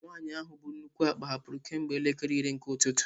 Nwanyị ahụ bu nnukwu akpa hapụrụ kemgbe elekere iri nke ụtụtụ.